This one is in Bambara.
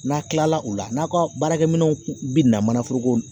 N'a kilala o la n'aw ka baarakɛ minɛnw binna manaforoko